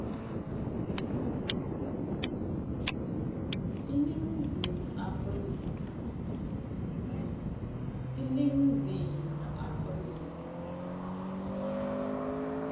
iningizimu afrika